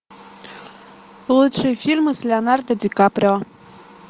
лучшие фильмы с леонардо ди каприо